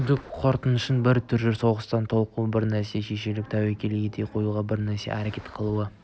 күдік қорқыныштың бір түрі соғыста толқу бір нәрсеге шешіліп тәуекел ете қоюға бір нәрсеге әрекет қылуға